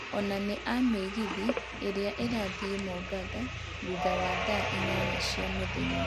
onania mĩgithi ĩria ĩrathiĩ mombatha thũtha wa thaa inyanya mũthenya